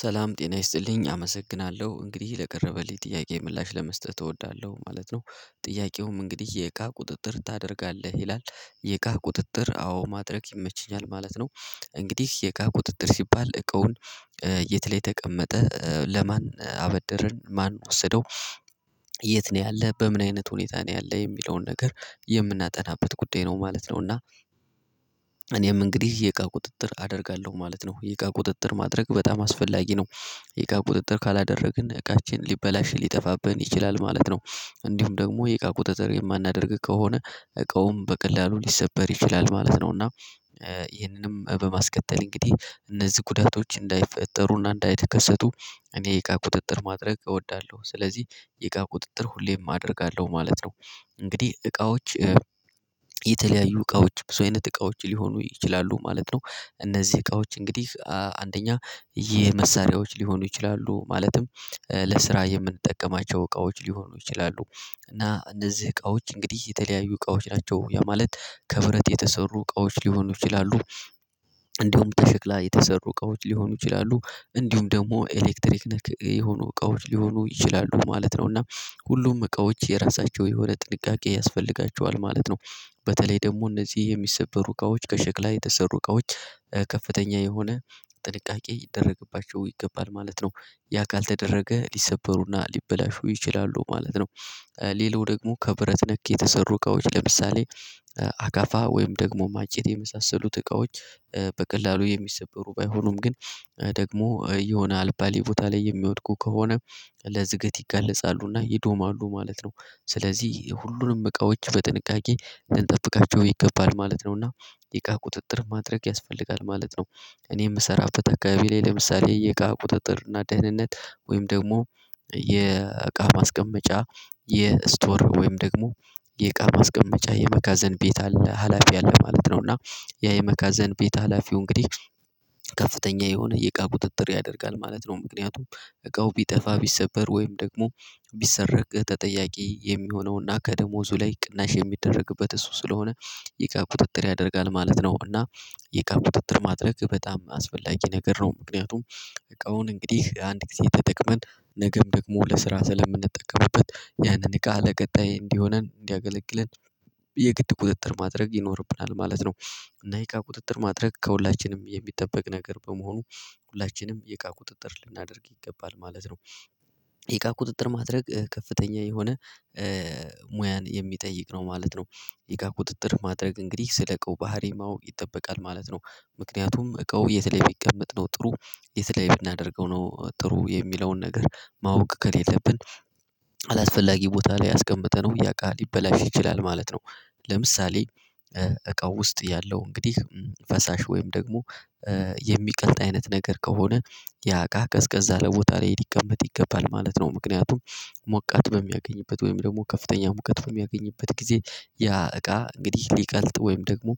ሰላም ጤና ይስጥልኝ አመሰግናለሁ እንግዲህ ለቀረበልኝ ጥያቄ ምላሽ ለመስጠት እወዳለሁ ማለት ነው። ጥያቄውም እንግዲህ የእቃ ቁጥጥር ታደርጋለህ ይላል? የእቃ ቁጥጥር አዎ ማድረግ ይመችኛል ማለት ነው። እንግዲህ የእቃ ቁጥጥር ሲባል እቃውን የት ላይ ተቀመጠ ለማን አበደርን ማን ወሰደው የት ነው ያለህ በምን አይነት ሁኔታ ነው ያለ የሚለውን ነገር የምናጠናበት ጉዳይ ነው ማለት ነው። እና እኔም እንግዲህ የእቃ ቁጥጥር አደርጋለሁ ማለት ነው። የእቃ ቁጥጥር ማድረግ በጣም አስፈላጊ ነው። የእቃ ቁጥጥር ካላደረግን እቃችን ሊበላሽ ሊጠፋብን ይችላል ማለት ነው። እንዲሁም ደግሞ የእቃ ቁጥጥር የማናደርግ ከሆነ እቃውም በቀላሉ ሊሰበር ይችላል ማለት ነው። እና ይህንንም በማስቀጠል እንግዲህ እነዚህ ጉዳቶች እንዳይፈጠሩና እንዳይከሰቱ እኔ የቃ ቁጥጥር ማድረግ እወዳለሁ። ስለዚህ የእቃ ቁጥጥር ሁሌም አደርጋለሁ ማለት ነው። እንግዲህ እቃዎች የተለያዩ እቃዎች ብዙ አይነት እቃዎች ሊሆኑ ይችላሉ ማለት ነው። እነዚህ እቃዎች እንግዲህ አንደኛ የመሳሪያዎች ሊሆኑ ይችላሉ ማለትም ለስራ የምንጠቀማቸው እቃዎች ሊሆኑ ይችላሉ። እና እነዚህ እቃዎች እንግዲህ የተለያዩ እቃዎች ናቸው ያ ማለት ከብረት የተሰሩ እቃዎች ሊሆኑ ይችላሉ። እንዲሁም ተሸክላ የተሰሩ እቃዎች ሊሆኑ ይችላሉ እንዲሁም ደግሞ ኤሌክትሪክ ነክ የሆኑ እቃዎች ሊሆኑ ይችላሉ ማለት ነው። እና ሁሉም እቃዎች የራሳቸው የሆነ ጥንቃቄ ያስፈልጋቸዋል ማለት ነው። በተለይ ደግሞ እነዚህ የሚሰበሩ እቃዎች ከሸክላ የተሰሩ እቃዎች ከፍተኛ የሆነ ጥንቃቄ ይደረግባቸው ይገባል ማለት ነው። ያ ካልተደረገ ሊሰበሩና ሊበላሹ ይችላሉ ማለት ነው። ሌላው ደግሞ ከብረት ነክ የተሰሩ እቃዎች ለምሳሌ አካፋ ወይም ደግሞ እንጨት የመሳሰሉት እቃዎች በቀላሉ የሚሰበሩ ባይሁኑም ግን ደግሞ የሆነ አልባሌ ቦታ ላይ የሚወድቁ ከሆነ ለዝገት ይጋለጻሉና ይዶማሉ ማለት ነው። ስለዚህ ሁሉንም እቃዎች በጥንቃቄ ልንጠብቃቸው ይገባል ማለት ነው። እና የእቃ ቁጥጥር ማድረግ ያስፈልጋል ማለት ነው። እኔ የምሰራበት አከባቢ ላይ ለምሳሌ የእቃ ቁጥጥር እና ደህንነት ወይም ደግሞ የእቃ ማስቀመጫ የስቶር ወይም ደግሞ የእቃ ማስቀመጫ የመጋዘን ቤት አለ ሀላፊ አለ ማለት ነው። እና ያ የመጋዘን ቤት ሀላፊው እንግዲህ ከፍተኛ የሆነ የእቃ ቁጥጥር ያደርጋል ማለት ነው። ምክንያቱም እቃው ቢጠፋ ቢሰበር ወይም ደግሞ ቢሰረቅ ተጠያቂ የሚሆነውና ከደሞዙ ላይ ቅናሽ የሚደረግበት እሱ ስለሆነ ይእቃ ቁጥጥር ያደርጋል ማለት ነው። እና የእቃ ቁጥጥር ማድረግ በጣም አስፈላጊ ነገር ነው። ምክንያቱም እቃውን እንግዲህ አንድ ጊዜ ተጠቅመን ነገም ደግሞ ለስራ ስለምንጠቀምበት ያንን እቃ ለቀጣይ እንዲሆነን እንዲያገለግለን የግድ ቁጥጥር ማድረግ ይኖርብናል ማለት ነው። እና የእቃ ቁጥጥር ማድረግ ከሁላችንም የሚጠበቅ ነገር በመሆኑ ሁላችንም የእቃ ቁጥጥር ልናደርግ ይገባል ማለት ነው። የእቃ ቁጥጥር ማድረግ ከፍተኛ የሆነ ሙያን የሚጠይቅ ነው ማለት ነው። ይእቃ ቁጥጥር ማድረግ እንግዲህ ስለቃው ባህሪ ማወቅ ይጠበቃል ማለት ነው። ምክንያቱም እቃው የት ላይ ቢሚቀመጥ ነው ጥሩ የት ላይ ብናደርገው ነው ጥሩ የሚለውን ነገር ማወቅ ከሌለብን አላስፈላጊ ቦታ ላይ አስቀምጠነው ያ እቃ ሊበላሽ ይችላል ማለት ነው። ለምሳሌ እቃው ውስጥ ያለው እንግዲህ ፈሳሽ ወይም ደግሞ የሚቀልጥ አይነት ነገር ከሆነ ያ እቃ ቀዝቀዛ ያለ ቦታ ላይ ሊቀመጥ ይገባል ማለት ነው። ምክንያቱም ሞቃት በሚያገኝበት ወይም ደግሞ ከፍተኛ ሙቃት በሚያገኝበት ጊዜ ያ እቃ እንግዲህ ሊቀልጥ ወይም ደግሞ